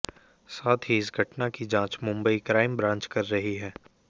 साथ ही इस घटना की जांच मुंबई क्राइम ब्रांच कर रही है